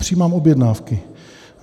Přijímám objednávky.